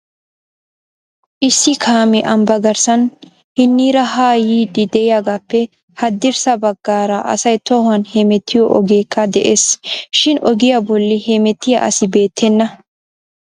Issi kaamee ambba garssan hiniira ha yiidi de'iyaagappe hadirssa baggaara asay tohuwan hemettiyo ogekka de'ees shin ogiyaa bolli hemettiyaa asi beettena